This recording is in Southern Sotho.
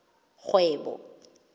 kgwebo